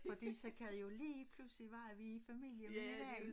Fordi så kan de jo lige pludselig være at vi i familie med hinanden